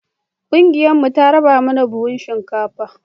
ƙungiyar mu ta raba mana buhun shinkafa